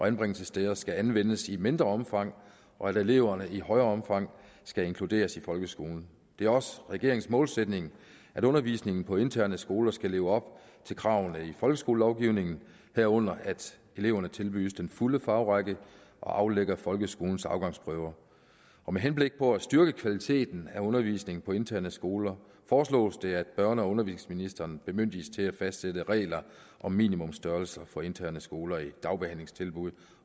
anbringelsessteder skal anvendes i mindre omfang og at eleverne i større omfang skal inkluderes i folkeskolen det er også regeringens målsætning at undervisningen på interne skoler skal leve op til kravene i folkeskolelovgivningen herunder at eleverne tilbydes den fulde fagrække og aflægger folkeskolens afgangsprøve med henblik på at styrke kvaliteten af undervisningen på interne skoler foreslås det at børne og undervisningsministeren bemyndiges til at fastsætte regler om minimumstørrelser for interne skoler i dagbehandlingstilbud